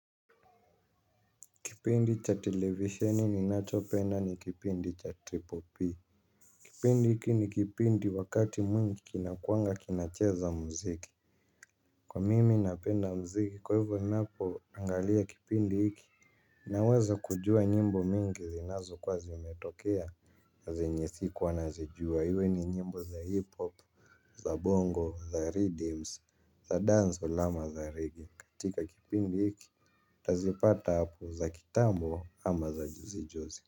Kipindi cha televisheni ninachopenda ni kipindi cha PPP. Kipindi hiki ni kipindi wakati mwingi kinakuanga kinacheza muziki. Kwa mimi napenda muziki kwa hivyo ninapoangalia kipindi hiki. Naweza kujua nyimbo mingi zinazokuwa zimetokea. Na zenye sikuwa nazijua hivyo ni nyimbo za hip hop, za bongo, za riddims, za dancehall, ama, za reggae. Katika kipindi hiki nitazipata hapo za kitambo ama za juzi juzi.